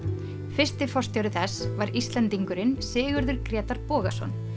fyrsti forstjóri þess var Íslendingurinn Sigurður Grétar Bogason